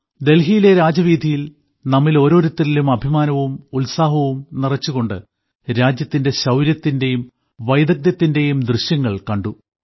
ഡൽഹിയിലെ രാജവീഥിയിൽ നമ്മിൽ ഓരോരുത്തരിലും അഭിമാനവും ഉത്സാഹവും നിറച്ചുകൊണ്ട് രാജ്യത്തിന്റെ ശൌര്യത്തിന്റെയും വൈദഗ്ധ്യത്തിന്റെയും ദൃശ്യങ്ങൾ കണ്ടു